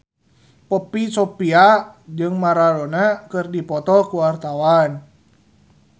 Poppy Sovia jeung Maradona keur dipoto ku wartawan